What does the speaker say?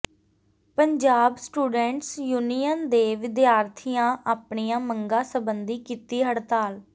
Punjab students union ਦੇ ਵਿਦਿਆਰਥੀਆਂ ਆਪਣੀਆਂ ਮੰਗਾਂ ਸਬੰਧੀ ਕੀਤੀ ਹੜਤਾਲ